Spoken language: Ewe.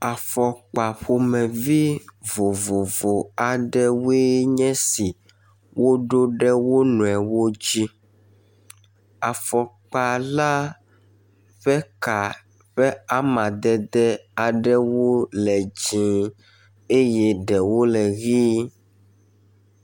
Afɔkpa ƒomevie vovovo aɖewoe nye si woɖo ɖe wo nɔewo dzi. Afɔkpa la ƒe ka ƒe amadede aɖewo le dzɛ̃ eye ɖewo le ʋe.